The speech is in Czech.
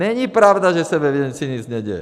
Není pravda, že se ve věci nic neděje.